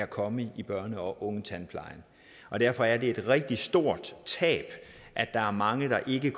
kommer i børne og ungetandplejen og derfor er det et rigtig stort tab at der er mange der ikke